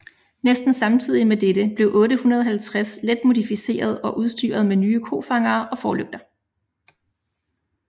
Næsten samtidig med dette blev 850 let modificeret og udstyret med nye kofangere og forlygter